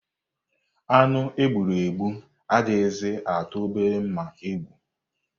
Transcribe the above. Anụ e gburu egbu adịghịzị atụ obere mma egwu.